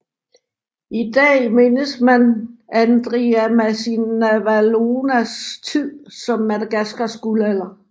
I dag mindes man Andriamasinavalonas tid som Madagascars guldalder